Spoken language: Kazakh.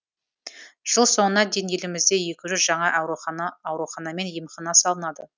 жыл соңына дейін елімізде екі жүз жаңа аурухана мен емхана салынады